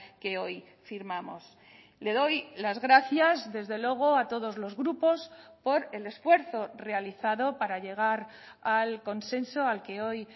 que hoy firmamos le doy las gracias desde luego a todos los grupos por el esfuerzo realizado para llegar al consenso al que hoy